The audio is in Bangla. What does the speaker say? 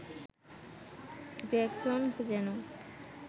গ্রেগসন যেন